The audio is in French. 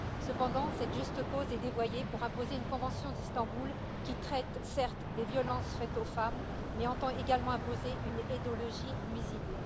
Cependant, cette juste cause est dévoyée pour imposer une convention d'Istanbul qui traite, certes, des violences faites aux femmes, mais entend également imposer une idéologie nuisible.